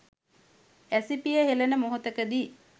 ඇසිපිය හෙලන මොහොතකදී